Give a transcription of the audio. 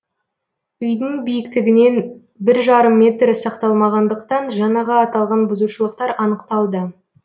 үйдің биіктігінен бір жарым метр сақталмағандықтан жаңағы аталған бұзушылықтар анықталды